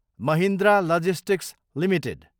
Mahindra logistics Ltd